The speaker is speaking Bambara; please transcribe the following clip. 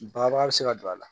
Baba bɛ se ka don a la